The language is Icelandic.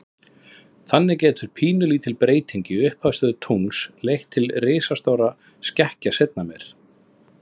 Þannig getur pínulítil breyting í upphafsstöðu tungls leitt til risastórra skekkja seinna meir.